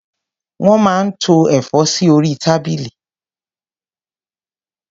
Wọ́n máa ń tó ẹ̀fọ́ sí orí tábìlì.